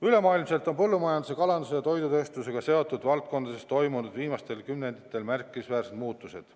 Ülemaailmselt on põllumajanduse, kalanduse ja toidutööstusega seotud valdkondades toimunud viimastel kümnenditel märkimisväärsed muutused.